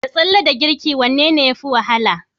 Da tsalle da girki wanne yafi wahala?